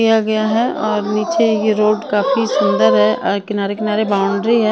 किया गया है और नीचे ये रोड काफी सुंदर है और किनारे किनारे बाउंड्री है .